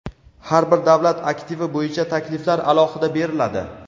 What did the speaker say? har bir davlat aktivi bo‘yicha takliflar alohida beriladi.